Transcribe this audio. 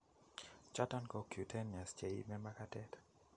Choton ko cutaneous cheiime makatet